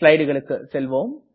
ஸ்லைடுகளுக்கு செல்வோம்